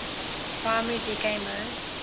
primary decay mode